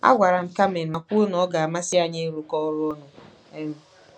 Agwara m Carmen ma kwuo na ọ ga-amasị anyị ịrụkọ ọrụ ọnụ. um